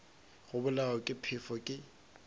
go bolawa ke phefo ke